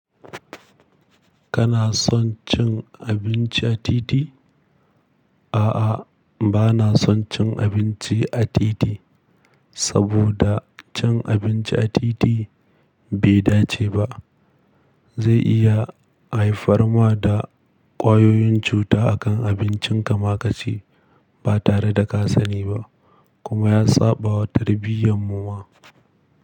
Kana son cin abinci a titi? A'a, ba na son cin abinci a titi, saboda cin abinci a titi, bai dace ba. Zai iya haifar ma da ƙwayoyin cuta a kan abincin ka ma ka ci, ba tare da ka sani ba, kuma ya saɓawa tarbiyyar mu ma.